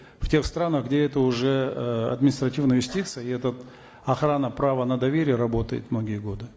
в тех странах где это уже э административная юстиция и этот охрана права на доверие работает многие годы